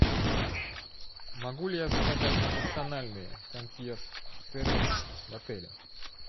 могу ли я заказать персональный консьерж сервис в отеле